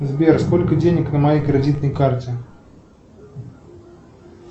сбер сколько денег на моей кредитной карте